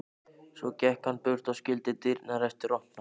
Svo gekk hann burt og skildi dyrnar eftir opnar.